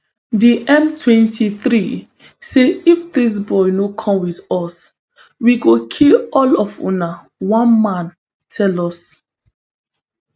di mtwenty-three say if dis boy no come wit us we go kill all of una one man tell us